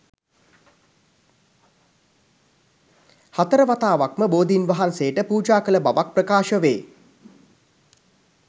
හතරවතාවක්ම බෝධීන් වහන්සේට පූජා කළ බවක් ප්‍රකාශ වේ